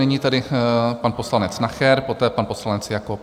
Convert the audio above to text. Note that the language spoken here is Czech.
Nyní tedy pan poslanec Nacher, poté pan poslanec Jakob.